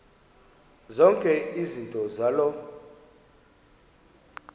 zonke izinto zaloo